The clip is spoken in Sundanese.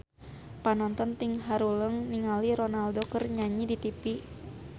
Panonton ting haruleng ningali Ronaldo keur nyanyi di tipi